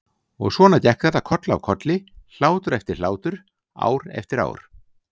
Og svona gekk þetta koll af kolli, hlátur eftir hlátur, ár eftir ár.